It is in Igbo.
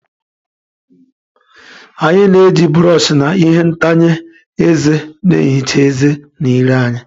Anyị na-eji brọsh na ihe ntanye eze na-ehicha ezé na ire anyị.